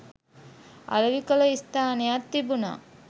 අලෙවි කළ ස්ථානයක් තිබුණා.